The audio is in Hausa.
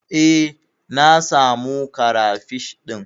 Eh, na samu karafish ɗin.